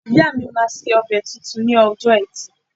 Ìyáà mi máa sebẹ̀ tuntun ni ọjọ́ Ẹtì